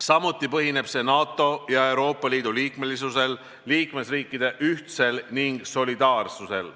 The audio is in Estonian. Samuti põhineb see NATO ja Euroopa Liidu liikmesusel, liikmesriikide ühtsusel ning solidaarsusel.